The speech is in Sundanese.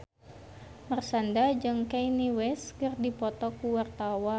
Marshanda jeung Kanye West keur dipoto ku wartawan